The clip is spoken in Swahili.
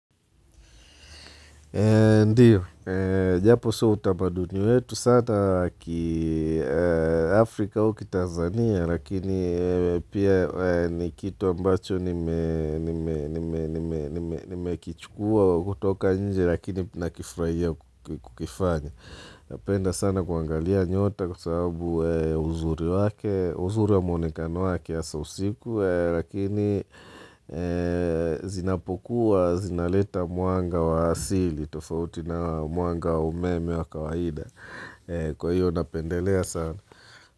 Ndiyo, japo sio utamaduni wetu, sata Afrika au kitanzania, lakini pia ni kitu ambacho nimekichukua kutoka nje lakini nakifurahia kukifanya. Napenda sana kuangalia nyota kwa sababu uzuri wa muonekano wake hasa usiku Lakini zinapokuwa, zinaleta mwanga wa asili tofauti na mwanga wa umeme wa kawaida Kwa hiyo napendelea sana.